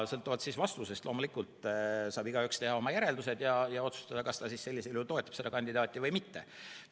Sõltuvalt vastusest saab igaüks teha oma järeldused ja otsustada, kas ta sellisel juhul toetab seda kandidaati või mitte.